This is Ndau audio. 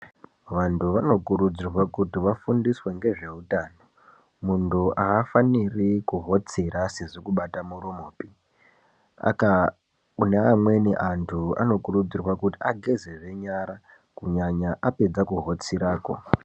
Vantu vanokurudzirwa kuti vafundiswe ngezve utano muntu aafaniri kuhotsira asizi kubata muromo paa aka kune amweni antu anokurudzirwa kuti ageze nyara kunyanya apedze kuhotsirakwo.